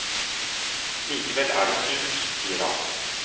Likevel er det surt, sier han.